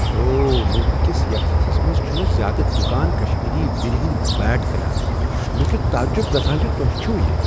اوہ! ملکہٕ کس یتھ حصس منز چھنہٕ زیادٕ دکان کشمیری ویٖرِ ہند بیٹ کٕنان۔ مےٚ چھ تعجب گژھان زِ تۄہہ چھُو یِہ۔